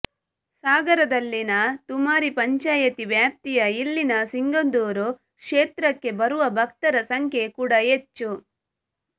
ಸಾಗರದಲ್ಲಿನ ತುಮರಿ ಪಂಚಾಯತಿ ವ್ಯಾಪ್ತಿಯ ಇಲ್ಲಿನ ಸಿಂಗದೂರು ಕ್ಷೇತ್ರಕ್ಕೆ ಬರುವ ಭಕ್ತರ ಸಂಖ್ಯೆ ಕೂಡ ಹೆಚ್ಚು